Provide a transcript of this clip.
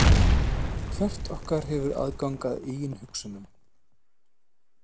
Hvert okkar hefur aðgang að eigin hugsunum.